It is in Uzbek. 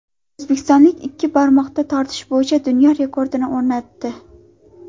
O‘zbekistonlik ikki barmoqda tortilish bo‘yicha dunyo rekordini o‘rnatdi .